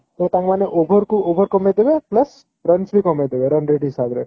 ତ ତାଙ୍କମାନେ over କୁ over କମେଇ ଦେବେ plus runs ବି କମେଇ ଦେବେ run rate ହିସାବରେ